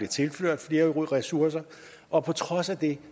tilført flere ressourcer og på trods af det